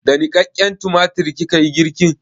Da niƙaƙƙen tumatir kika yi girkin?